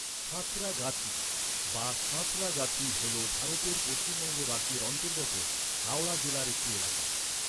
সাঁতরাগাচি, বা সাঁতরাগাছি হল ভারতের পশ্চিমবঙ্গ রাজ্যের অন্তর্গত হাওড়া জেলার একটি এলাকা।